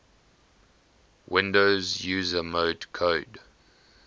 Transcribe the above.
windows user mode code